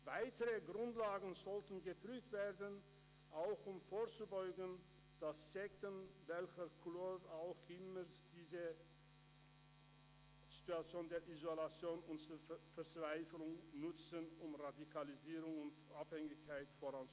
Weitere Grundlagen sollten geprüft werden, auch um vorzubeugen, dass Sekten welcher Couleur auch immer diese Situation der Isolation und Verzweiflung nutzen, um Radikalisierung und Abhängigkeit voranzutreiben.